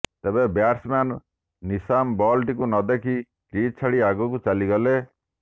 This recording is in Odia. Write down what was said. ତେବେ ବ୍ୟାଟ୍ସମ୍ୟାନ୍ ନିଶାମ୍ ବଲଟିକୁ ନଦେଖି କ୍ରିଜ୍ ଛାଡି ଆଗକୁ ଚାଲିଗଲେ